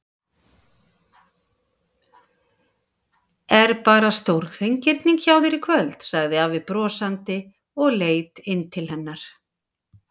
Er bara stórhreingerning hjá þér í kvöld sagði afi brosandi og leit inn til hennar.